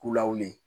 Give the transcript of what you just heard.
K'u lawili